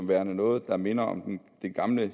være noget der minder om det gamle